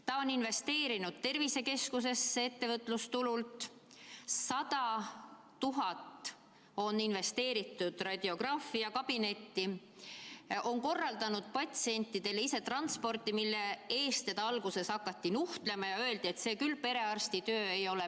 Ta on investeerinud ettevõtlustulu tervisekeskusesse, 100 000 on investeeritud radiograafiakabinetti, ta on korraldanud patsientidele ise transporti, mille eest teda alguses hakati nuhtlema ja öeldi, et see küll perearsti töö ei ole.